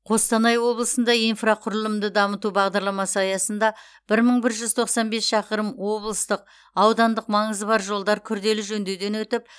қостанай облысында инфрақұрылымды дамыту бағдарламасы аясында бір мың бір жүз тоқсн бес шақырым облыстық аудандық маңызы бар жолдар күрделі жөндеуден өтіп